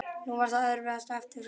Nú var það erfiðasta eftir fyrir mig.